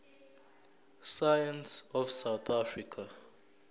science of south